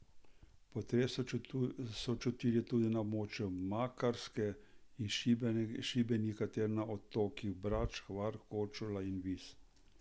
Potres so čutili tudi na območju Makarske in Šibenika ter na otokih Brač, Hvar, Korčula in Vis.